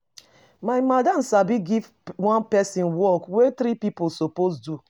My madam sabi give one pesin work wey three pipo suppose do.